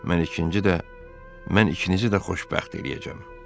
Mən ikinci də mən ikinizi də xoşbəxt eləyəcəm.